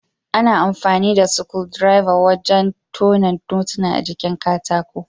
Ana amfani da sukudireba wurin tone notuna a jikin katako